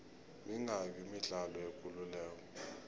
mingaki imidlalo yekuleleko